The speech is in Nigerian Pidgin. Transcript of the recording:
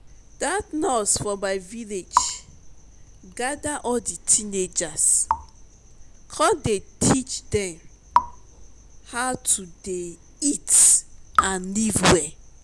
dat nurse for my village gather all the teenagers come dey teach dem how to dey eat and live well